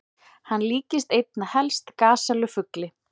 Hann líktist einna helst gasellu-fugli.